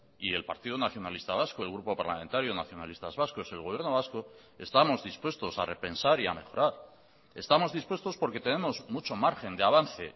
y el partido nacionalista vasco el grupo parlamentario nacionalistas vascos el gobierno vasco estamos dispuestos a repensar y a mejorar estamos dispuestos porque tenemos mucho margen de avance